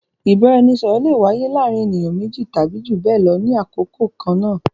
Ìbáraẹnisọ̀rọ̀ le wáyé láàárín ènìyàn méjì tàbí jù bẹẹ lọ ní àkókò kan náà